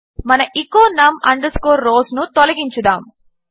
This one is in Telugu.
మన ఎచో num rows ను తొలగించుదాము